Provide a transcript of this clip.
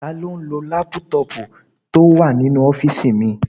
Taló n lo lápútọ̀pù tó wà nínú ọ́fìsì mi?